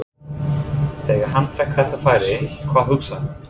Þegar hann fékk þetta færi, hvað hugsaði hann?